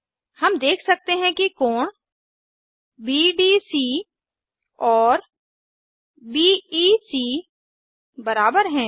हम देख सकते हैं कि कोण बीडीसी और बीईसी बराबर हैं